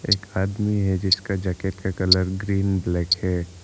एक आदमी है जिसके जैकेट का कलर ग्रीन ब्लैक है।